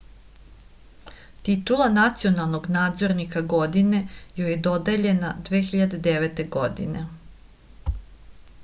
titula nacionalnog nadzornika godine joj je dodeljena 2009. godine